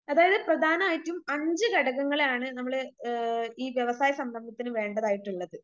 അതായത് പ്രധാനായിട്ടും അഞ്ച് ഘടകങ്ങളാണ് നമ്മള് ആ ഈ വ്യവസായ സംരംഭത്തിന് വേണ്ടതായിട്ടുള്ളത്.